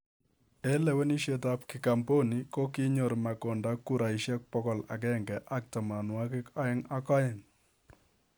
Eng leweneshiet ab kigamboni, kokinyor makonda kurainik bokol agenge ak tamanwagik aeng ak aeng.